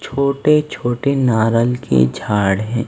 छोटे-छोटे नारल के झाड़ हैं।